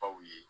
Aw ye